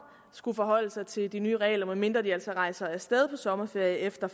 skulle forholde sig til de nye regler med mindre de altså rejser af sted på sommerferie efter